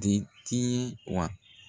Di ti wa.